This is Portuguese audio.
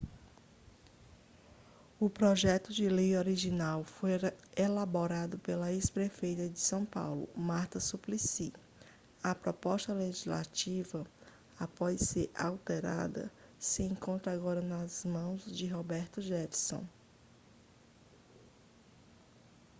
o projeto de lei original foi elaborado pela ex-prefeita de são paulo marta suplicy a proposta legislativa após ser alterada se encontra agora nas mãos de roberto jefferson